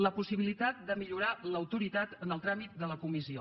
la possibilitat de millorar l’autoritat en el tràmit de la comissió